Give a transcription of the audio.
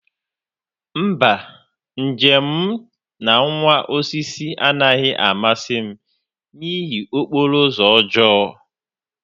mba, njem m na nwa osisi anaghị amasị m n'ihi okporo ụzọ ọjọọ